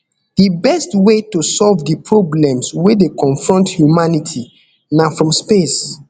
di best way to solve di problems wey dey confront humanity na from space